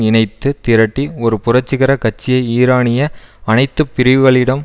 இணைத்துத் திரட்டி ஒரு புரட்சிகர கட்சியை ஈரானிய அனைத்து பிரிவுகளிடம்